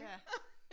Ja